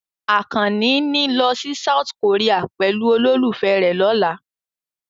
Àkànní ní lọ sí South Korea pẹ̀lú olólùfẹ́ rẹ̀ lọ́la.